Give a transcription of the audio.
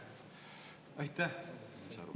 Aitäh!